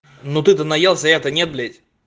ну ты-то наелся я-то не блять